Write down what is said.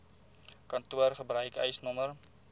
kantoor gebruik eisnr